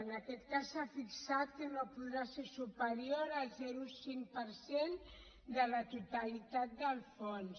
en aquest cas s’ha fixat que no podrà ser superior al zero coma cinc per cent de la totalitat del fons